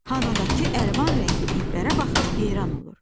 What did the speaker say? Hanadakı əlvan rəngli iplərə baxıb heyran olur.